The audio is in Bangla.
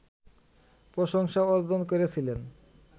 প্রশংসা অর্জন করেছিলেন